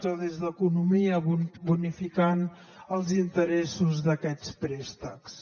o des d’economia bonificar els interessos d’aquests préstecs